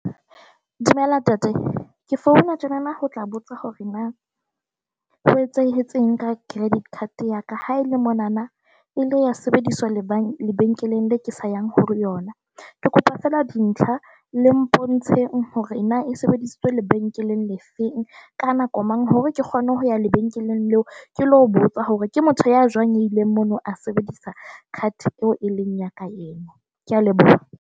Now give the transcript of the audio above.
Dumela ntate, ke founa tjenana ho tla botsa hore na ho etsahetseng ka credit card ya ka ha e le monana e ile ya sebediswa lebenkeleng la ke sa yang hore yona ke kopa feela dintlha le mpontshe hore na sebedisitswe lebenkeleng le feng, ka nako mang, hore ke kgone ho ya lebenkeleng leo, ke le ho botsa hore ke motho ya jwang a ileng mono a sebedisa card eo e leng ya ka ena . Ke a leboha.